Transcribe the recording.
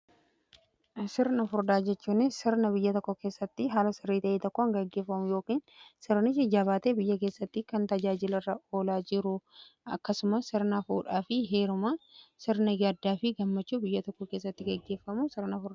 sirna furdaa jechuun sirna biyya tokko keessatti haala sirrii ta'e tokkoo gaggeeffamu yookiin sirnichi jabaatee biyya keessatti kan tajaajila irra oolaa jiru fi akkasumas sirnaa fuudhaa fi heeruma sirna gaddaa fi gammachuu biyya tokko keessatti gaggeeffamu sirna furdaa jedhama.